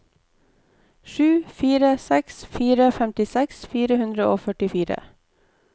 sju fire seks fire femtiseks fire hundre og førtifire